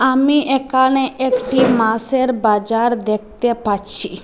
আমি একানে একটি মাছের বাজার দেকতে পাচ্চি।